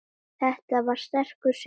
Þetta var sterkur sigur.